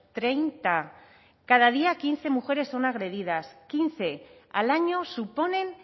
treinta cada día quince mujeres son agredidas quince al año suponen